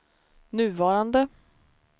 nuvarande